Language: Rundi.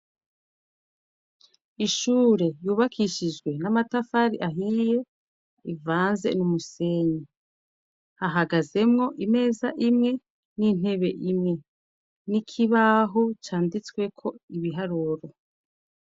ishure yubakishijwe n'amatafari ahiye ivanze n'umusenyi hahagazemwo imeza imwe n'intebe imwe n'ikibaho canditsweko ibiharuro